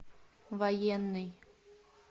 военный